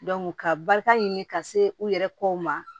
ka barika ɲini ka se u yɛrɛ kow ma